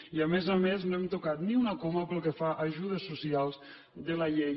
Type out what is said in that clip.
i a més a més no hem tocat ni una coma pel que fa a ajudes socials de la llei